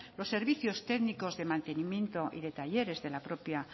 los servicios técnicos de mantenimiento y de talleres de la propia